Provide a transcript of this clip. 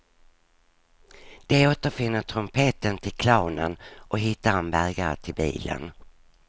De återfinner trumpeten till clownen och hittar en bärgare till bilen.